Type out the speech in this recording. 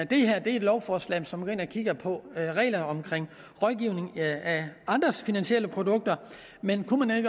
det her er et lovforslag som går ind og kigger på reglerne omkring rådgivning af andres finansielle produkter men kunne